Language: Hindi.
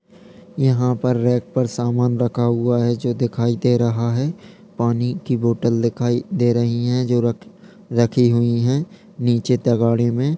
यहां पर रैक पर सामान रखा हुआ है जो दिखाई दे रहा है पानी की बॉटल दिखाई दे रही है जो र-रखी हुई है नीचे तगाड़े में।